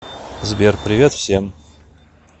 сбер привет всем